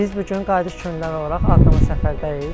Biz bu gün Qayıdış Könüllüləri olaraq Ağdamda səfərdəyik.